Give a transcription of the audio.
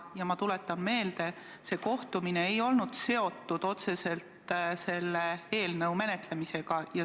Ja ma tuletan meelde, et see kohtumine ei olnud otseselt seotud selle eelnõu menetlemisega.